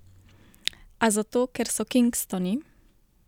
A zato ker so kingstoni?